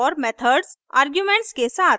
और methods arguments के साथ